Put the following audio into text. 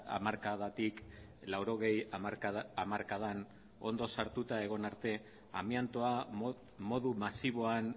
hamarkadatik laurogei hamarkadan ondo sartuta egon arte amiantoa modu masiboan